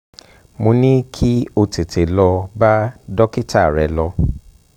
mo um ní kí o tètè lọ bá dókítà rẹ̀ lọ